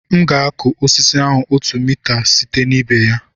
M ga-akụ osisi ahụ otu mita site na ibe ya